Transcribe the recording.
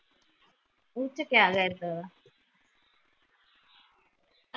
ਉਚ ਕਿਆ ਕਰਦਾ ਵੇ